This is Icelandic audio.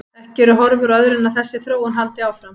Ekki eru horfur á öðru en að þessi þróun haldi áfram.